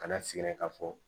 Kana sigɛrɛ k'a fɔ